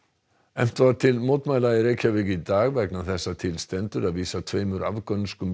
efnt var til mótmæla í Reykjavík í dag vegna þess að til stendur að vísa tveimur afgönskum